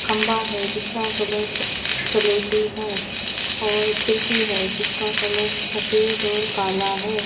खंबा है जिसका कलर स सलेटी है और खिड़की है जिसका कलर सफेद और काला है।